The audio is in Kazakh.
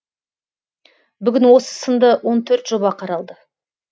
бүгін осы сынды он төрт жоба қаралды